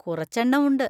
കുറച്ചെണ്ണം ഉണ്ട്.